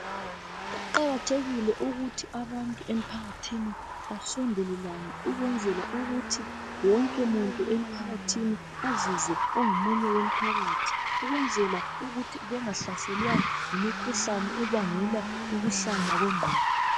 Kuqakathekile ukuthi abantu emphakathini basondelelane ukwenzela ukuthi wonke muntu emphakathini azizwe engomunye womphakathi ukwenzela ukuthi bengahlaselwa yimikhuhlane ebangela ukuhlanya kwengqondo.